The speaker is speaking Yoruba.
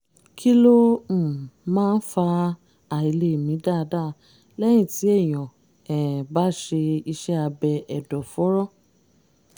kí ló um máa ń fa àìlèmí dáadáa lẹ́yìn tí ènìyàn um bá ṣe iṣẹ́ abẹ ẹ̀dọ̀fóró?